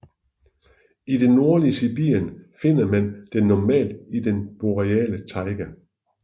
I det nordlige Sibirien finder man den normalt i den boreale taiga